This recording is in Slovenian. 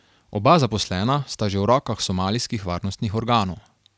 Oba zaposlena sta že v rokah somalijskih varnostnih organov.